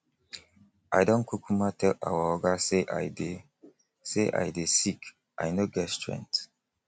i don kukuma tell our oga say i dey say i dey sick i no get strength